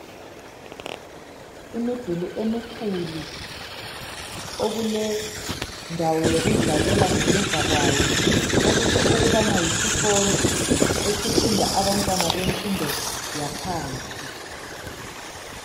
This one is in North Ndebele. Imiduli emikhulu okulendawo yokudlalela ngemuva kwayo okutsho ukubana yisikolo esifunda abantwana bemfundo yaphansi.